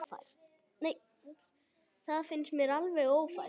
Það finnst mér alveg ófært.